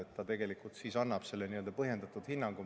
Tegelikult annab siis selle põhjendatud hinnangu.